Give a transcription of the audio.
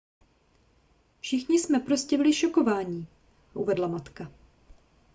všichni jsme prostě byli šokovaní uvedla matka